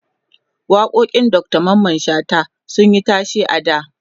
waƙoƙin Dr Mamman shata sunyi tashe a da